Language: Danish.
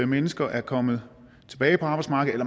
mennesker er kommet tilbage på arbejdsmarkedet